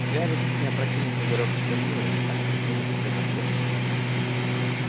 гарри чуть не опрокинул пузырёк с чернилами так спешил написать ответ